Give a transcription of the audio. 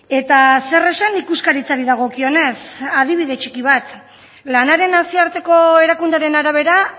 eta zer esan ikuskaritzari dagokionez adibide txiki bat lanaren nazioarteko erakundearen arabera